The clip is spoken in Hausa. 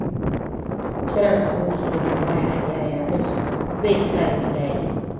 Kiran aboki da tambaya "yaya kake?" zai sa yaji daɗi.